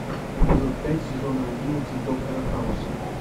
эпизод пять сезона одиннадцать доктора хауса